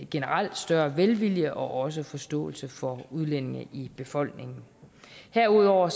generelt større velvilje og også forståelse for udlændinge i befolkningen herudover